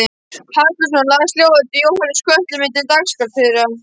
Halldórsson las ljóð eftir Jóhannes úr Kötlum milli dagskráratriða.